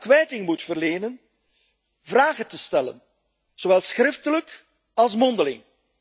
kwijting moet verlenen, vragen te stellen, zowel schriftelijk als mondeling.